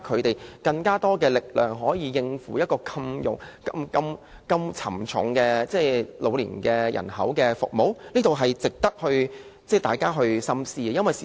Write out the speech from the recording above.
或者增加他們的力量，讓他們可以應付照顧龐大老年人口這麼沉重的工作，這值得大家深思。